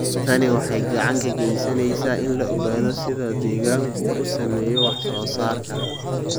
Tani waxay gacan ka geysaneysaa in la ogaado sida deegaanku u saameeyo wax soo saarka.